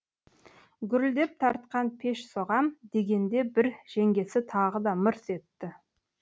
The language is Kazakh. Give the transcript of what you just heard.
гүрілдеп тартқан пеш соғам дегенде бір жеңгесі тағы да мырс етті